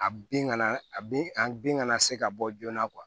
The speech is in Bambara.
A bin kana a bin a bin kana se ka bɔ joona